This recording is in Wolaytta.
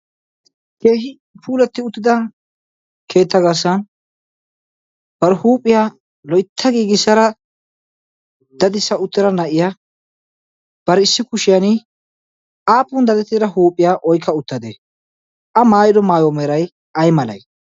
keehi puuletti uttida keetta gaassan bar huuphiyaa loytta giigissara dadissa uttida na'iya bar issi kushiyan aafun dadettira huuphiyaa oikka uttadee a maayido maayo meeray ay malee